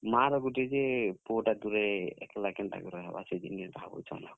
ମାଁ, ର ଗୁଟେ ଯେ ପୁଅ ଟା ଦୁରେ ଏକ୍ ଲା କେନ୍ତା କି ରହେବା ସେ ଜିନିଷ୍ ଭାବୁଛନ୍ ଆଉ।